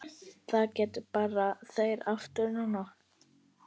Það gerðu þeir aftur nú.